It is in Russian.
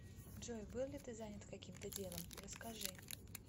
джой был ли ты занят каким то делом расскажи